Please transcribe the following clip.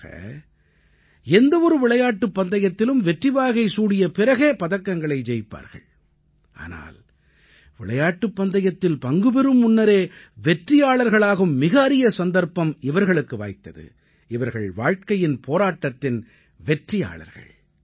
பொதுவாக எந்த ஒரு விளையாட்டுப் பந்தயத்திலும் வெற்றிவாகை சூடிய பிறகே பதக்கங்களை ஜெயிப்பார்கள் ஆனால் விளையாட்டுப் பந்தயத்தில் பங்கு பெறும் முன்னரே வெற்றியாளர்களாகும் மிக அரிய சந்தர்ப்பம் இவர்களுக்கு வாய்த்தது இவர்கள் வாழ்க்கையின் போராட்டத்தின் வெற்றியாளர்கள்